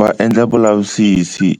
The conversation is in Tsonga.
Va endla vulavisisi